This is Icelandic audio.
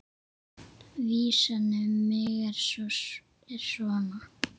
Vísan um mig er svona